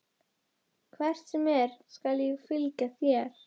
Hvert sem er skal ég fylgja þér.